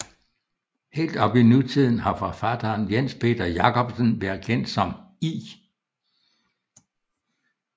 Helt op i nutiden har forfatteren Jens Peter Jacobsen været kendt som I